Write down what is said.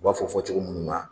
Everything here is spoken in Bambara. U b'a fɔ fɔ cogo minnu na